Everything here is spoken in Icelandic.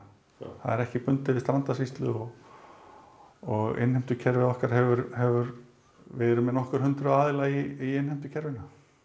það er ekki bundið við og innheimtukerfið okkar hefur hefur við erum með nokkur hundruð aðila í innheimtukerfinu